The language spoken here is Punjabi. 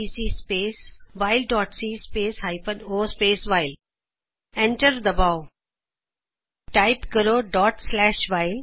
GCC space while dot c space hyphen o space while enter ਦਬਾਓ ਟਾਈਪ ਕਰੋ while ਡੋਟ ਸਲੈਸ਼ ਵਾਇਲ